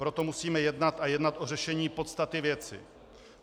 Proto musíme jednat a jednat o řešení podstaty věci.